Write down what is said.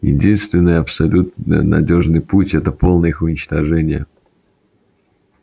единственный абсолютно надёжный путь это полное их уничтожение